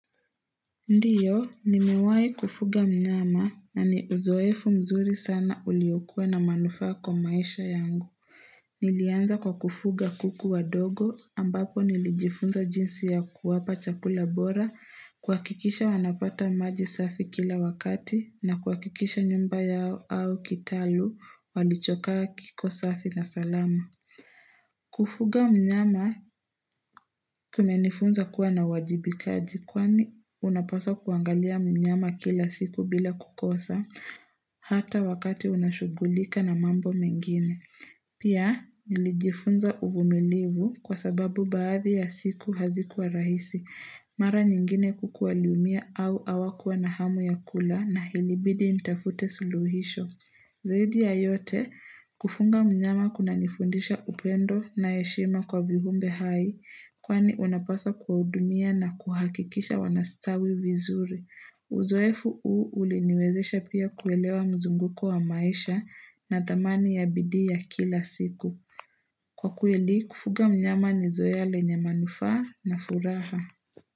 Ndiyo, nimewai kufuga mnyama na niuzoefu mzuri sana uliokua na manufaa kwa maisha yangu. Nilianza kwa kufuga kuku wa dogo ambapo nilijifunza jinsi ya kuwapa chakula bora kuhakikisha wanapata maji safi kila wakati na kuhakikisha nyumba yao au kitalu walichokaa kiko safi na salama. Kufuga mnyama kumenifunza kuwa na uwajibikaji kwani unapaswa kuangalia mnyama kila siku bila kukosa hata wakati unashugulika na mambo mengine Pia nilijifunza uvumilivu kwa sababu baadhi ya siku hazikuwa rahisi Mara nyingine kuku waliumia au hawa kuwa na hamu ya kula na ilibidi nitafute suluhisho Zaidi ya yote, kufunga mnyama kuna nifundisha upendo na heshima kwa viumbe hai, kwani unapaswa kudumia na kuhakikisha wanastawi vizuri. Uzoefu hu uliniwezesha pia kuelewa mzunguko wa maisha na dhamani ya bidii ya kila siku. Kwa kweli, kufuga mnyama nizoea lenye manufaa na furaha.